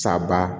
Saba